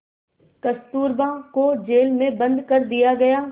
कस्तूरबा को जेल में बंद कर दिया गया